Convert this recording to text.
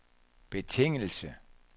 betingelse